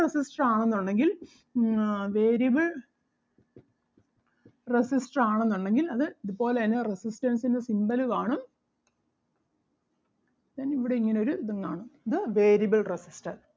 resistor ആണെന്നുണ്ടെങ്കിൽ ആഹ് variable resistor ആണെന്നുണ്ടെങ്കിൽ അത് ഇതുപോലെ തന്നെ resistance ൻ്റെ symbol കാണും then ഇവിടെ ഇങ്ങനെ ഒരു ഇതും കാണും. ഇത് variable resistor